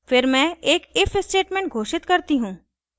फिर मैं एक if statement घोषित करती हूँ